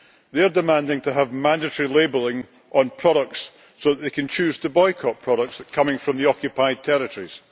They are demanding to have mandatory labelling on products so that they can choose to boycott products coming from the occupied territories.